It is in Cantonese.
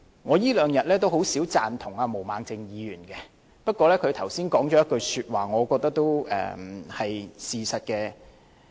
我這兩天也很少贊同毛孟靜議員，不過她剛才說了一句話，我覺得都是事實。